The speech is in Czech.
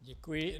Děkuji.